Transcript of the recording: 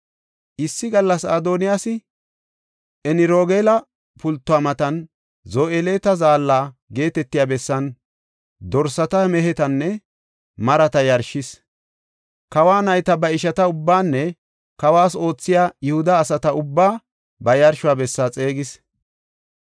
Issi gallas Adoniyaasi Enrogeela pultuwa matan Zoheleta Zaalla geetetiya bessan dorsata, mehetanne marata yarshis. Kawo nayta ba ishata ubbaanne kawas oothiya Yihuda asata ubbaa ba yarsho bessa xeegis.